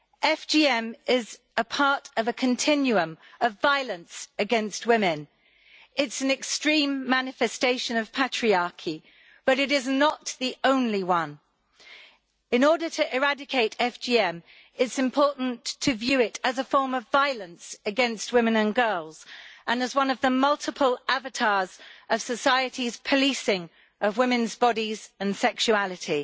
FGM is a part of a continuum of violence against women. It's an extreme manifestation of patriarchy but it is not the only one. In order to eradicate FGM, it is important to view it as a form of violence against women and girls, and as one of the multiple avatars of society's policing of women's bodies and sexuality.